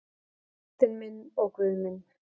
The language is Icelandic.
Drottinn minn og Guð minn.